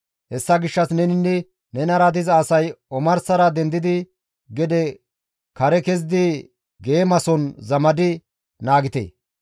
Hessa gishshas neninne nenara diza asay omarsara dendidi gede kare kezidi geemason zamadi naagite.